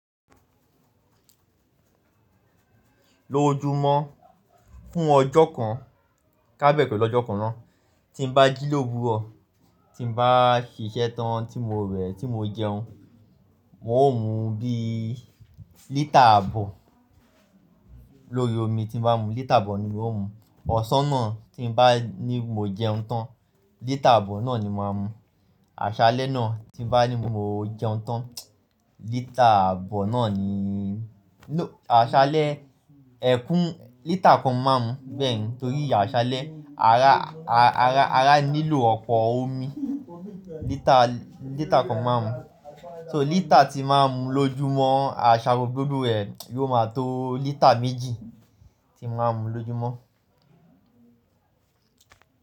Lójúmọ́ fún ọjọ́ kan, ká bẹ̀rè pẹ̀lú ọjọ́ kan náà, tí n bá jí ló wúrọ̀, tí n bá ṣìṣẹ́ tán tí mo rẹ̀, tí mo jẹun, mo ó mú bí lítà àbọ̀ lórí omi tí n bá mu, lítà àbọ̀ ni mo ó mu. Ọ̀ṣọ́ náà tí n bá ní mo jẹun tán, lítà àbọ̀ náà ni màá mu. Àṣálẹ́ náà tí n bá ní mo jẹun tán, lítà àbọ̀ náà ni, ló, àṣálẹ́, ẹ̀kún, lítà kan máa mú bẹ́ẹ̀, nítorí àṣálẹ́, ará, ará, ará nílò ọ̀pọ̀ omi, lítà, lítà kan máa mú. So lítà tí màá mú lójúmọ́, àṣàró gbogbo ẹ̀ yóò má tó lítà méjì tí màá mú lójúmọ́